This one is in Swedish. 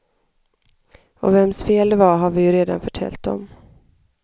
Och vems fel det var har vi ju redan förtäljt om.